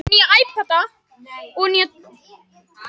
Ég hef engan áhuga á henni Lillu.